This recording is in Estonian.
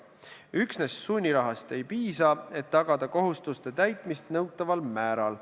Üksnes sunnirahast ei piisa, et tagada kohustuste täitmist nõutaval määral.